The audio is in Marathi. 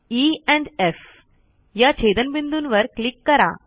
ई एंड एफ या छेदनबिंदूंवर क्लिक करा